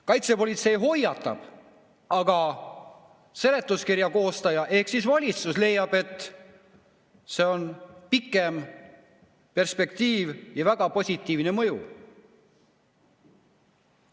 Kaitsepolitsei hoiatab, aga seletuskirja koostaja ehk valitsus leiab, et see on pikemas perspektiivis väga positiivne mõju!